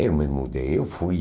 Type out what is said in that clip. Eu me mudei, eu fui.